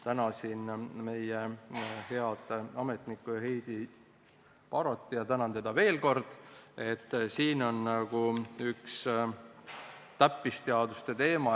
Tänan siinkohal meie head ametnikku Heidi Barotit ja tänan teda veel kord, sest see siin on nagu üks täppisteaduste teema.